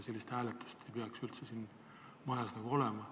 Sellist hääletust ei peaks üldse siin majas olema.